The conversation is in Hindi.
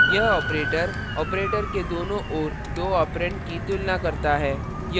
यह operator operator के दोनों ओर दो ऑपरेंड की तुलना करता है